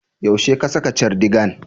Yaushe ka saka cardigan?